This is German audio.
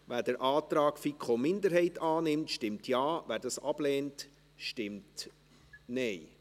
Wer den Antrag FiKo-Minderheit annimmt, stimmt Ja, wer diesen ablehnt, stimmt Nein.